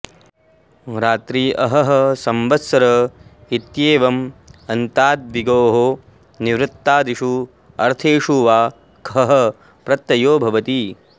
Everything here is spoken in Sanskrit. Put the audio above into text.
रात्रि अहः संवत्सर इत्येवम् अन्ताद् द्विगोः निर्वृत्तादिषु अर्थेषु वा खः प्रत्ययो भवति